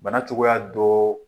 Bana cogoya dɔ